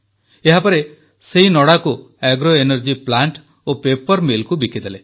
ଏହାପରେ ସେହି ନଡ଼ାକୁ ଆଗ୍ରୋ ଏନର୍ଜି ପ୍ଲାଣ୍ଟ ଓ ପେପର Millକୁ ବିକିଦେଲେ